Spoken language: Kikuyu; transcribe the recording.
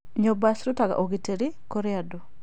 Nyũmba cirutaga ũgitĩri kũrĩ andũ.